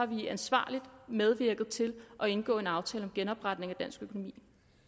vi ansvarligt medvirket til at indgå en aftale om genopretning af dansk økonomi